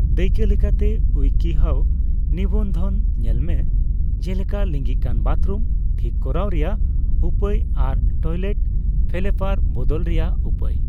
ᱫᱟᱹᱭᱠᱟᱹ ᱞᱮᱠᱟᱛᱮ, 'ᱩᱭᱠᱤᱦᱟᱣ' ᱱᱤᱵᱚᱱᱫᱷᱚᱱ ᱧᱮᱞᱢᱮ, ᱡᱮᱞᱮᱠᱟ 'ᱞᱤᱸᱜᱤᱠᱟᱱ ᱵᱟᱛᱨᱩᱢ ᱴᱷᱤᱠ ᱠᱚᱨᱟᱣ ᱨᱮᱭᱟᱜ ᱩᱯᱟᱹᱭ' ᱟᱨ ᱴᱚᱭᱞᱮᱴ ᱯᱷᱮᱞᱮᱯᱟᱨ ᱵᱚᱫᱚᱞ ᱨᱮᱭᱟᱜ ᱩᱯᱟᱹᱭ ᱾